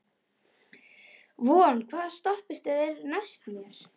Von, hvaða stoppistöð er næst mér?